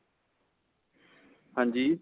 ਹਾਂਜੀ